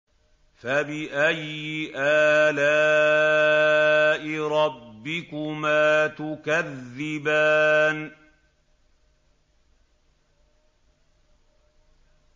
فَبِأَيِّ آلَاءِ رَبِّكُمَا تُكَذِّبَانِ